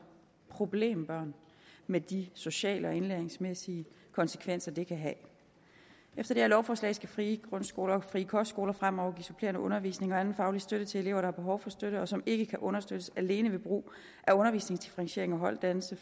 problembørn med de sociale og indlæringsmæssige konsekvenser det kan have efter det her lovforslag skal frie grundskoler og frie kostskoler fremover give supplerende undervisning og anden faglig støtte til elever der har behov for støtte og som ikke kan understøttes alene ved brug af undervisningsdifferentiering og holddannelse